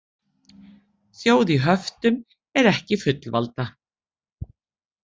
Þjóð í höftum er ekki fullvalda